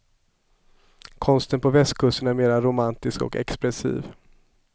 Konsten på västkusten är mer romantisk och expressiv.